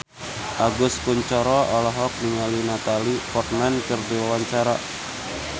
Agus Kuncoro olohok ningali Natalie Portman keur diwawancara